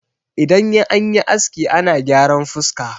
idan an yi aski ana gyaran fuska